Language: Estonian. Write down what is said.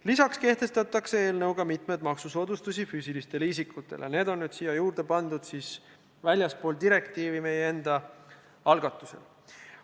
Lisaks kehtestatakse eelnõuga mitmeid maksusoodustusi füüsilistele isikutele – need on siia juurde pandud väljaspool direktiivi meie enda algatusel.